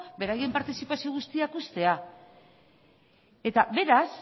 beraien partizipazio guztiak uztea eta beraz